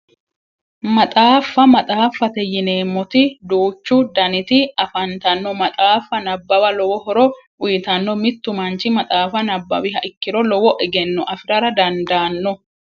Maxaaffa maxaaffate yineemmoti duuchu daniti afantanno maxaaffa nabawa lowo horo uyitanno mittu manchi maxaafa nabbawiha ikkiro lowo egenno afirara dandaanno